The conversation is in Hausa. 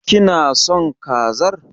Kina son kazar?